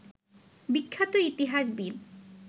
বিখ্যাত ইতিহাসবিদ